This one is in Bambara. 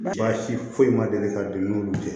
Baasi foyi ma deli ka don n'olu cɛ